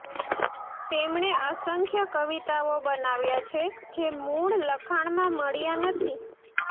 તેમણે અસંખ્ય કવિતાઓ બનાવ્યાં છે જે મૂળ લખાણમાં મળ્યા નથી